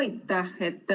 Aitäh!